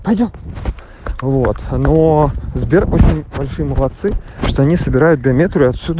алло вот но сбер очень большие молодцы что они собирают биометрию отсюда